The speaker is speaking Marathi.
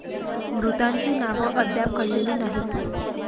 मृतांची नाव अद्याप कळलेली नाहीत.